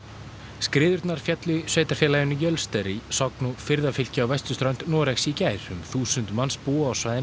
skriðurnar féllu í sveitarfélaginu Jölster í Sogn og firðafylki á vesturströnd Noregs í gær um þúsund manns búa á svæðinu